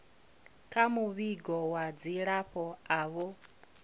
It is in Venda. kha muvhigo wa dzilafho avho